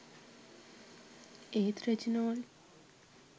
ඒත් රෙජිනෝල්ඩ්